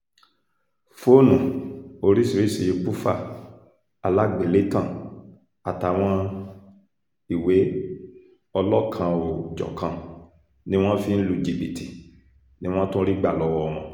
fóònù oríṣìíríṣìí bùfá aláàgbélétan àtàwọn ìwé ọlọ́kan-ò-jọ̀kan tí wọ́n fi ń lu jìbìtì ni wọ́n tún rí gbà lọ́wọ́ wọn